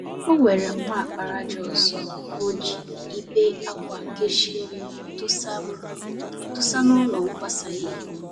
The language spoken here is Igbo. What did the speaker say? Onwere mma àkpàràjà ọzọ mji ibe-ákwà kechie m dosa m dosa n'ụlọ nkwasa ìhè